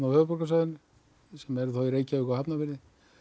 höfuðborgarsvæðinu sem eru í Reykjavík og Hafnarfirði